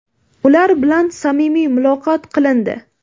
ular bilan samimiy muloqot qilindi.